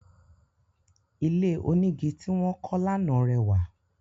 Ilé onígi ti wọ́n kọ́ lánà rẹwà